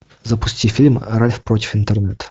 запусти фильм ральф против интернета